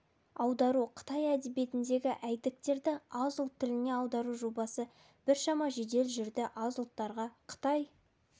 аудару қытай әдебиетіндегі әйдіктерді аз ұлт тіліне аудару жобасы біршама жедел жүрді аз ұлттарға қытай